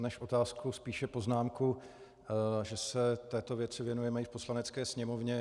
Než otázku, spíše poznámku, že se této věci věnujeme i v Poslanecké sněmovně.